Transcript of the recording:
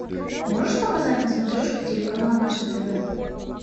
можешь показать на смотрешке телеканал наше тв